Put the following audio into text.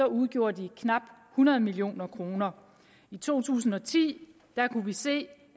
udgjorde de knap hundrede million kroner i to tusind og ti kunne vi se